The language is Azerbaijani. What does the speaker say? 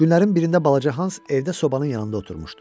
Günlərin birində balaca Hans evdə sobanın yanında oturmuşdu.